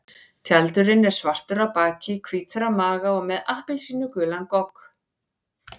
Tjaldurinn er svartur á baki, hvítur á maga og með appelsínugulan gogg.